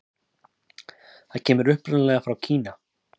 Það kemur upprunalega frá Kína.